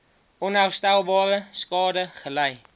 onherstelbare skade gely